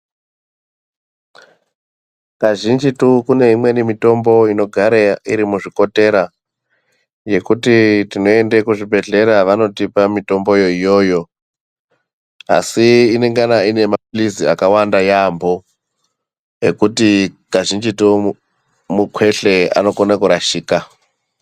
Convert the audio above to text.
Kazhinjitu kune imweni mitombo inogare iri muzvikotera yekuti tinende kuzvibhedhlera vanotipa mutomboyo iyoyo asi inengana ine mapilizi akawanda yaampo ekutii kazhinjitu mukwehle unokone kurashika.